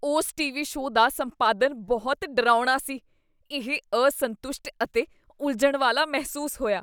ਉਸ TV. Show ਦਾ ਸੰਪਾਦਨ ਬਹੁਤ ਡਰਾਉਣਾ ਸੀ। ਇਹ ਅਸੰਤੁਸ਼ਟ ਅਤੇ ਉਲਝਣ ਵਾਲਾ ਮਹਿਸੂਸ ਹੋਇਆ।